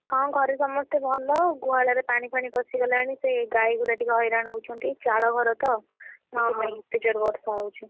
ହଁ ଘରେ ସମସ୍ତେ ଭଲ, ଗୁହାଳରେ ପାଣିଫାଣୀ ପଶିଗଲାଣି, ସେ ଗାଈ ଗୁରା ଟିକେ ହଇରାଣ ହଉଛନ୍ତି, ଚାଳ ଘର ତ, ସେଥିପାଇଁ ଏତେ ଜୋରେ ବର୍ଷା ହଉଛି,